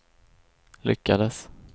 lyckades